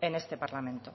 en este parlamento